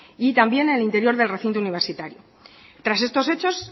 y también en el interior del recinto universitario tras estos hechos